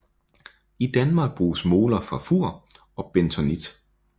I Danmark bruges moler fra Fur og bentonit